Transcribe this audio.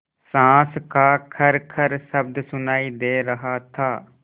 साँस का खरखर शब्द सुनाई दे रहा था